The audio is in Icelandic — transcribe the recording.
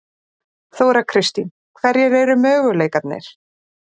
Þóra Kristín: Hverjir eru möguleikarnir?